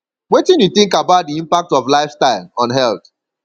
wetin you think about di impact of lifestyle on health